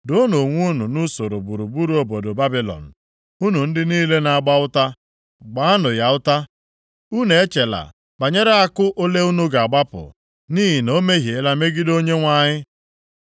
“Doonụ onwe unu nʼusoro gburugburu obodo Babilọn, unu ndị niile na-agba ụta. Gbaanụ ya ụta. Unu echela banyere àkụ ole unu ga-agbapụ nʼihi na o mehiela megide Onyenwe anyị.